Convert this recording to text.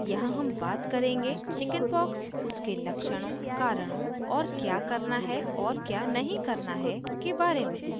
यहाँ हम बात करेंगे chickenpox उसके लक्षणों कारणों और क्या करना है और क्या नहीं करना है के बारे में